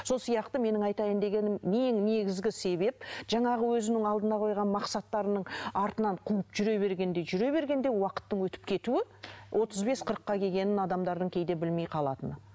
сол сияқты менің айтайын дегенім ең негізгі себеп жаңағы өзінің алдына қойған мақсаттарының артынан қуып жүре бергенде жүре бергенде уақыттың өтіп кетуі отыз бес қырыққа келгенін адамдардың кейде білмей қалатыны